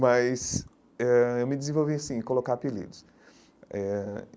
Mas eh eu me desenvolvi assim, em colocar apelidos eh.